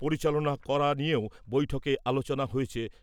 পরিচালনা করা নিয়েও বৈঠকে আলোচনা হয়েছে।